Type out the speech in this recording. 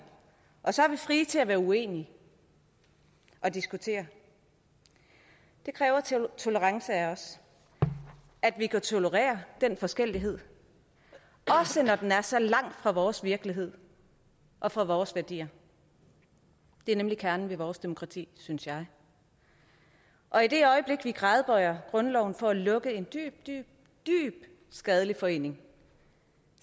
og så er vi frie til at være uenige og diskutere det kræver tolerance af os at vi kan tolerere den forskellighed også når den er så langt fra vores virkelighed og fra vores værdier det er nemlig kernen i vores demokrati synes jeg og i det øjeblik vi gradbøjer grundloven for at lukke en dybt dybt skadelig forening